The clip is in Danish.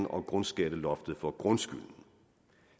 og grundskatteloftet for grundskylden